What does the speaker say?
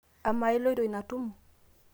amaa iloito ina tumo?